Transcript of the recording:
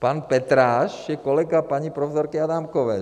Pan Petráš je kolega paní profesorky Adámkové.